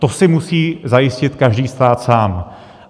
To si musí zajistit každý stát sám.